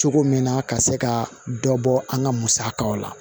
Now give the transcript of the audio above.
Cogo min na ka se ka dɔ bɔ an ka musakaw la